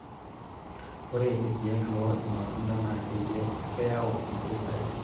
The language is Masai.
ore ilkeek loo ilmatunda naa keyau impisai